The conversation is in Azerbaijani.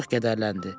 Çox qəhərləndi.